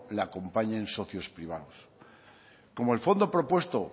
le acompañen socios privados como el fondo propuesto